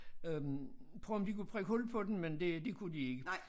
Øh prøvede om de kunne prikke hul på den men det det kunne de ikke